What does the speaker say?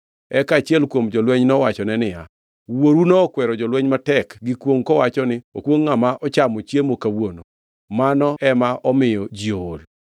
Eka achiel kuom jolweny nowachone niya, “Wuoru nokwero jolweny matek gi kwongʼ kowacho ni, ‘Okwongʼ ngʼama ochamo chiemo kawuono! Mano ema omiyo ji ool.’ ”